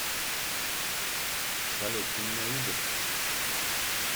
салют ты меня видишь